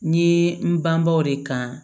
N ye n bangebaaw de kan